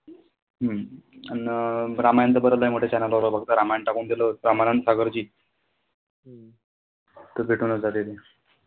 हम्म अन रामायण तर बरंच आहे मोठ्या channel वर फक्त रामायण टाकून दिल होत रामानंद सागर जी. त भेटूनच जातील.